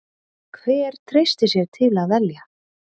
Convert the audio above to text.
Hver treystir sér til að velja?